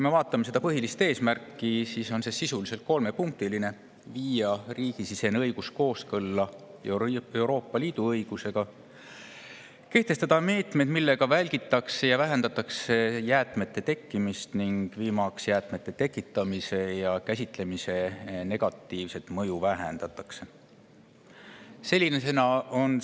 Vaatame selle põhilist eesmärki, mis on sisuliselt kolmepunktiline: viia riigisisene õigus kooskõlla Euroopa Liidu õigusega, kehtestada meetmed, millega välditakse ja vähendatakse jäätmete tekkimist, ning viimaks vähendada jäätmete tekitamise ja käsitlemise negatiivset mõju.